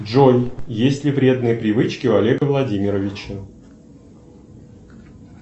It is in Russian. джой есть ли вредные привычки у олега владимировича